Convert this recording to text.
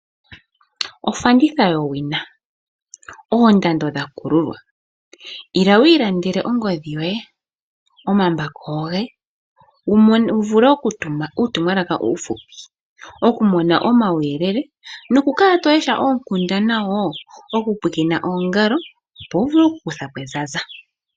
Ofanditha yowina oondando dhakululwa. Ila wiiilandele ongodhi yoye omambako goye wuvule okutuma uutumwala uushupi okumona omauyelele nokukala tolesha oonkundana woo okupwiikina oongalo opo wuvule okukuthapo ezaza.